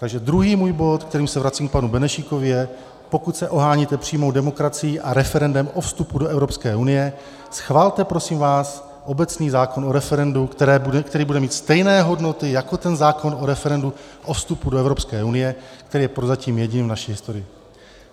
Takže druhý můj bod, kterým se vracím k panu Benešíkovi, je - pokud se oháníte přímou demokracií a referendem o vstupu do Evropské unie, schvalte prosím vás obecný zákon o referendu, který bude mít stejné hodnoty jako ten zákon o referendu o vstupu do Evropské unie, který je prozatím jediný v naší historii.